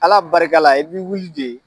Ala barika la, i bii wuli de